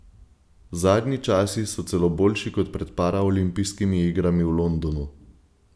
Zadnji časi so celo boljši kot pred paraolimpijskimi igrami v Londonu.